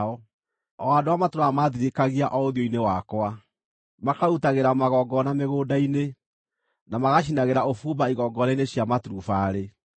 o andũ arĩa matũũraga maathirĩkagia o ũthiũ-inĩ wakwa, makarutagĩra magongona mĩgũnda-inĩ, na magacinagĩra ũbumba igongona-inĩ cia maturubarĩ;